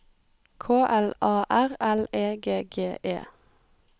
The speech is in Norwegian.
K L A R L E G G E